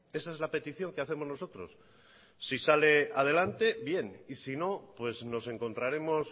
esa es la petición que hacemos nosotros si sale adelante bien y si no pues nos encontraremos